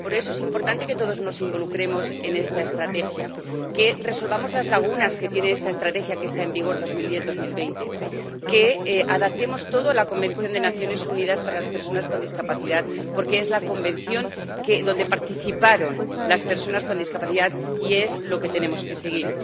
por eso es importante que todos nos involucremos en esta estrategia, que resolvamos las lagunas que tiene esta estrategia que está en vigor de 2010 a 2020, que adaptemos todo a la Convención de Naciones Unidas sobre los Derechos de las Personas con Discapacidad, porque es la convención donde participaron las personas con discapacidad y es lo que tenemos que seguir.